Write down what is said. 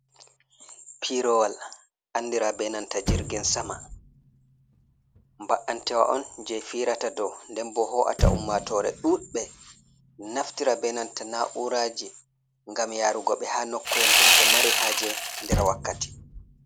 Pirowal andira benanta jirgin sama, ba’antewa on je firata do ndenbo ho’ata ummatore ɗuɗbe naftira benanta na uraji gam yarugo ɓe ha nokko’el dum ɓe mari haje der wakkati.